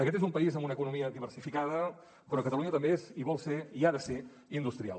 aquest és un país amb una economia diversificada però catalunya també és i vol ser i ha de ser industrial